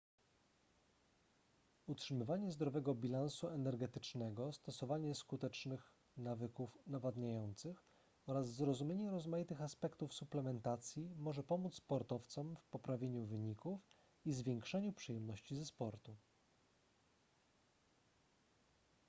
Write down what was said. utrzymywanie zdrowego bilansu energetycznego stosowanie skutecznych nawyków nawadniających oraz zrozumienie rozmaitych aspektów suplementacji może pomóc sportowcom w poprawieniu wyników i zwiększeniu przyjemności ze sportu